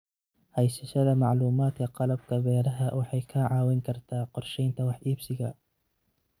Haysashada macluumaadka qalabka beeraha waxay kaa caawin kartaa qorsheynta wax iibsiga.